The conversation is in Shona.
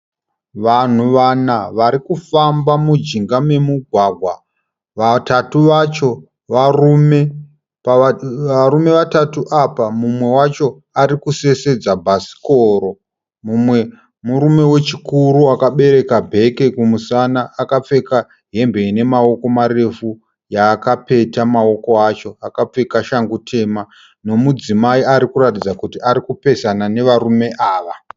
Vanhu vana varikufamba mujinga memugwagwa. Vatatu vacho varume. Pavarume vatatu apa mumwe wacho ari kusesedza bhasikoro. Mumwe murume wechikuru akabereka bhegi kumusana akapfeka hembe ine maoko marefu, yaakapeta mawoko acho, akapfeka shangu tema. Nomudzimai arikuratidza kuti arikupesana nevarume ava.